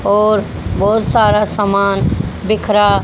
और बहोत सारा सामान बिखरा--